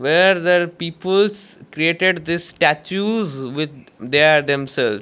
where there peoples created this statues with their themself.